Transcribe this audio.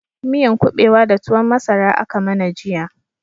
Miyan kubewa da tuwon masara aka mana jiya